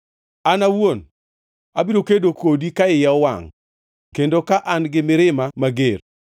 An awuon abiro kedo kodi ka iya owangʼ kendo ka an gi mirima mager.